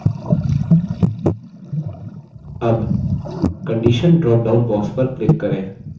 अब condition drop down box पर click करें